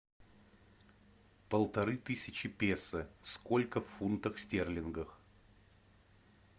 полторы тысячи песо сколько в фунтах стерлингов